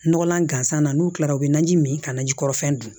Nɔgɔlan gansan na n'u kilara u bɛ na ji min ka na ji kɔrɔ fɛn dun